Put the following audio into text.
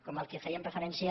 com el que fèiem referència